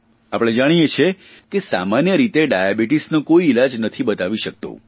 આપણે જાણીએ છીએ કે સામાન્ય રીતે ડાયાબીટીસનો કોઇ ઇલાજ નથી બતાવી શકતું